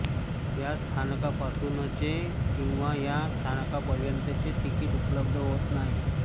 या स्थानकापासूनचे किंवा या स्थानकापर्यंतचे तिकीट उपलब्ध होत नाही